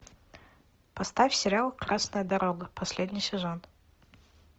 поставь сериал красная дорога последний сезон